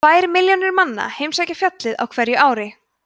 um tvær milljónir manna heimsækja fjallið á hverju ári